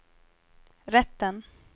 rätten